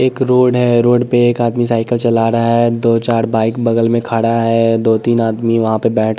एक रोड है रोड पे एक आदमी साइकिल चला रहा है दो चार बाइक बगल में खड़ा है दो-तीन आदमी वहाँ पे बैठ--